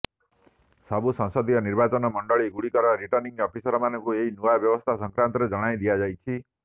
ସବୁ ସଂସଦୀୟ ନିର୍ବାଚନ ମଣ୍ଡଳୀଗୁଡ଼ିକର ରିଟର୍ଣ୍ଣିଂ ଅଫିସରମାନଙ୍କୁ ଏହି ନୂଆ ବ୍ୟବସ୍ଥା ସଂକ୍ରାନ୍ତରେ ଜଣାଇ ଦିଆଯାଇଛି